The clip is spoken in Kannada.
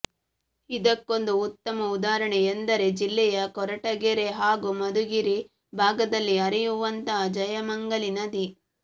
ಇದಕ್ಕೊಂದು ಉತ್ತಮ ಉದಾಹರಣೆ ಎಂದರೆ ಜಿಲ್ಲಾಯ ಕೊರಟಗೆರೆ ಹಾಗೂ ಮಧುಗಿರಿ ಭಾಗದಲ್ಲಿ ಹರಿಯುವಂತಹ ಜಯಮಂಗಲಿ ನದಿ